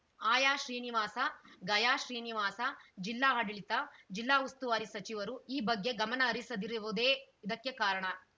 ಆಯ ಶ್ರೀನಿವಾಸ ಗಯಾ ಶ್ರೀನಿವಾಸ ಜಿಲ್ಲಾ ಆಡಳಿತ ಜಿಲ್ಲಾ ಉಸ್ತುವಾರಿ ಸಚಿವರು ಈ ಬಗ್ಗೆ ಗಮನ ಹರಿಸದಿರುವುದೇ ಇದಕ್ಕೆ ಕಾರಣ